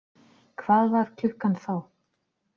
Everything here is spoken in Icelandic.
Hvað var klukkan þá?